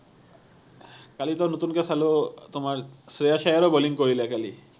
কালি তো নতুনকে চালো তোমাৰ শ্ৰেয়াস আয়াৰেও বলিং কৰিলে কালি